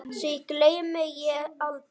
Því gleymi ég aldrei.